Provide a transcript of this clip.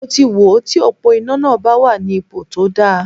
Mo ti wò ó ti òpó iná náà bá wà ní ipo tó dáa.